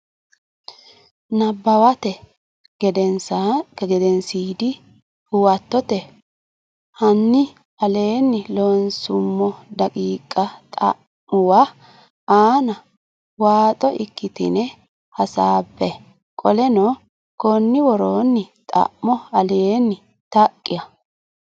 Nabbawate Gedensiidi Huwato hanni aleenni loonsummo daqiiqa xa muwa aana waaxo ikkitine hasaabbe qoleno konni woroonni xa mo aleenni Taqa.